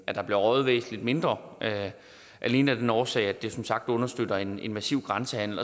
at der bliver røget væsentlig mindre alene af den årsag at det som sagt understøtter en massiv grænsehandel